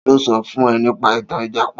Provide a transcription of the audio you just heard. Ta ló sọ fún ẹ nípa ìtàn Ìjàpá?